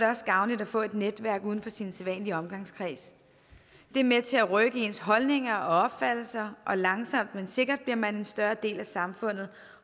også gavnligt at få et netværk uden for sin sædvanlige omgangskreds det er med til at rykke ens holdninger og opfattelse og langsomt men sikkert bliver man en større del af samfundet